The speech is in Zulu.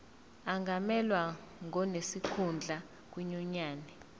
angamelwa ngonesikhundla kwinyunyane